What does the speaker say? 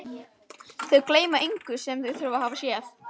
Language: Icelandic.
Þau gleyma engu sem þau hafa séð.